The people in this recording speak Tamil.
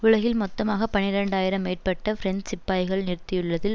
உலகில் மொத்தமாக பனிரண்டாயிரம் மேற்பட்ட பிரெஞ்சு சிப்பாய்களை நிறுத்தியுள்ளதில்